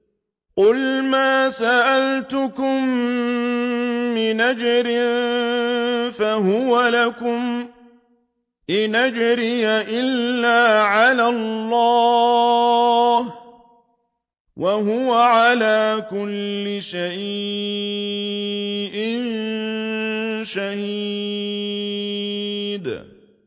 قُلْ مَا سَأَلْتُكُم مِّنْ أَجْرٍ فَهُوَ لَكُمْ ۖ إِنْ أَجْرِيَ إِلَّا عَلَى اللَّهِ ۖ وَهُوَ عَلَىٰ كُلِّ شَيْءٍ شَهِيدٌ